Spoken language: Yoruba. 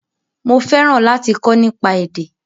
Mo fẹ́ràn láti kọ́ nípa èdè